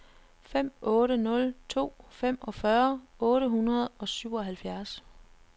fem otte nul to femogfyrre otte hundrede og syvoghalvfjerds